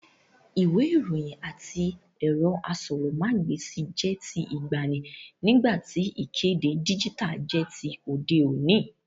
Ìwé ìròyìn àti ẹ̀rọ asọ̀rọ̀mágb'èsì jẹ́ ti ìgbàanì, nígbà tí ìkéde díjítà jẹ́ ti òde òní